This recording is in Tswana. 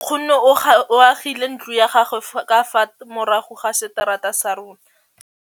Nkgonne o agile ntlo ya gagwe ka fa morago ga seterata sa rona.